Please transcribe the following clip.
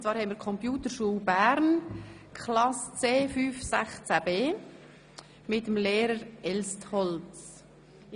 Wir haben die Klasse C516B der Computerschule Bern mit dem Lehrer el Strolz bei uns.